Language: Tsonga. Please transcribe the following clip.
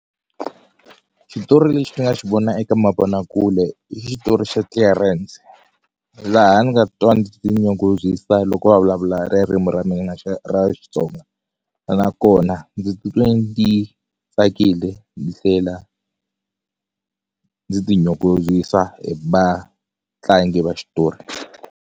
Xitori lexi ni nga xi vona eka mavonakule i xitori xa Clearance laha ni nga titwa ni tinyungubyisa loko va vulavula ririmu ra mina ra Xitsonga nakona ndzi titwe ndzi tsakile ni tlhela ndzi ti nyungubyisa hi matlangi va xitori.